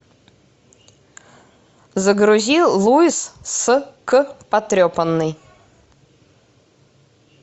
загрузи луис с к потрепанный